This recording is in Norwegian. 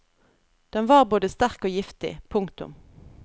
Den var både sterk og giftig. punktum